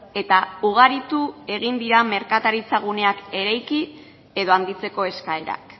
eta ugaritu egin dira merkataritza guneak eraiki edo handitzeko eskaerak